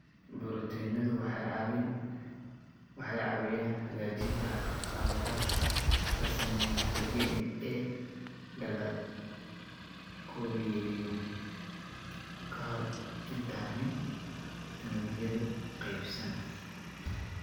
Borotiinadu waxay caawiyaan hagaajinta khaladaadka la sameeyo marka DNA-da la koobiyeeyo ka hor intaanay unugyadu qaybsan.